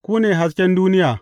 Ku ne hasken duniya.